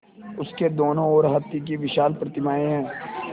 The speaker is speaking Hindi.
उसके दोनों ओर हाथी की विशाल प्रतिमाएँ हैं